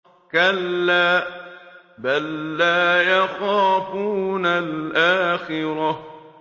كَلَّا ۖ بَل لَّا يَخَافُونَ الْآخِرَةَ